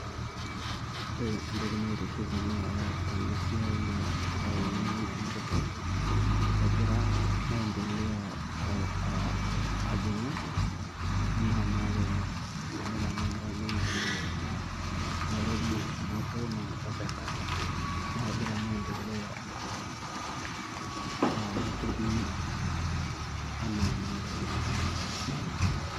Ore entoki naitiship Nanu tenakata tena siai naa intaoni ang' tenikidol egira maendeleo aa aajing'u enaa naakenyu amu ore tenakata tenidol naa Nairobi enkae naa Mombasa engae naa kegira maendeleo aaku ketii enaa naakenyu.